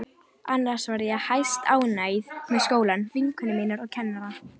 Annars var ég hæstánægð með skólann, vinkonur mínar og kennarana.